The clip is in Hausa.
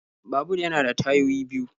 Babur yana da tayoyi biyu.